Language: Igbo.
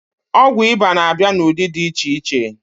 Ọgwụ ịba na-abịa n'ụdị dị iche iche